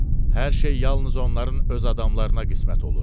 Hər şey yalnız onların öz adamlarına qismət olur.